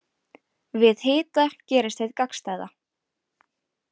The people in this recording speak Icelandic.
Við hita gerist hið gagnstæða.